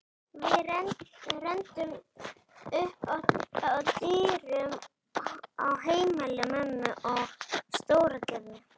Við renndum upp að dyrum á heimili mömmu í Stóragerði.